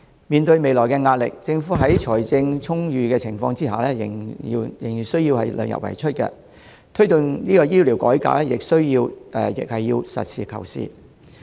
面對未來的壓力，政府在財政充裕的情況下仍然要量入為出，推動醫療改革時亦要實事求是。